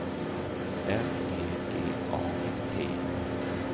L E G A T